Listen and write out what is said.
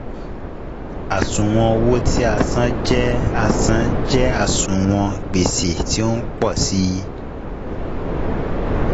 Àṣùwọ̀n owó tí a san jẹ́ a san jẹ́ àṣùwọ̀n gbèsè tí o ń pọ̀ sí i.